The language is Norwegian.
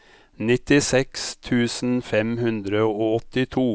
nittiseks tusen fem hundre og åttito